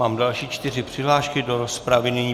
Mám další čtyři přihlášky do rozpravy.